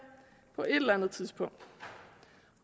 på et eller andet tidspunkt